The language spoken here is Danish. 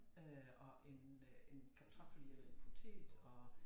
Øh og en øh en kartoffel er en patat og